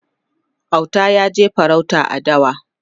Auta yaje farauta a dawa